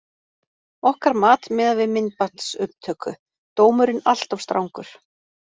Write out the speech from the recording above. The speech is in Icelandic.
Okkar mat miðað við myndbandsupptöku: Dómurinn alltof strangur.